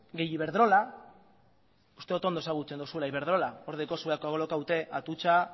gehi ibedrola uste dut ondo ezagutzen duzuela ibedrola hor daukazue kolokatuta atutxa